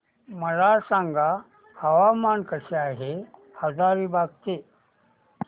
मला सांगा हवामान कसे आहे हजारीबाग चे